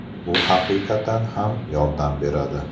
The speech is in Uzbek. Bu haqiqatan ham yordam beradi”.